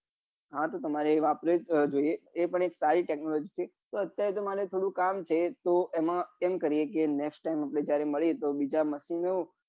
હા તો તમારે એ વાપરવું જ જોઈએ એ પણ એક સારી technology છે તો અત્યારે તો મારે થોડું કામ છે તો એમ કરીએ કે next time આપડે મળીએ તો બીજા machine નું